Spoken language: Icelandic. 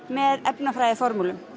með